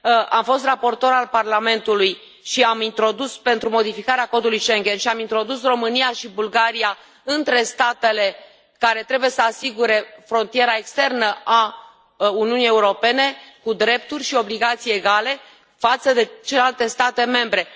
Am fost raportor al Parlamentului pentru modificarea codului Schengen și am introdus România și Bulgaria între statele care trebuie să asigure frontiera externă a Uniunii Europene, cu drepturi și obligații egale față de celelalte state membre.